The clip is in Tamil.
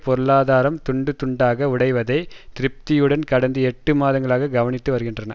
பொருளாதாரம் துண்டுதுண்டாக உடைவதை திருப்தியுடன் கடந்த எட்டு மாதங்களாக கவனித்துவருகின்றன